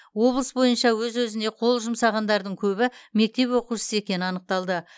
облыс бойынша өз өзіне қол жұмсағандардың көбі мектеп оқушысы екені анықталды